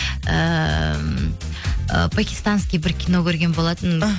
ыыы пакистанский бір кино көрген болатынмын іхі